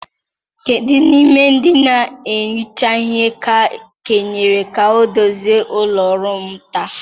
Kedu n'ime ndị na-ehicha ihe ka e kenyere ka ọ dozie ụlọ ọrụ m taa?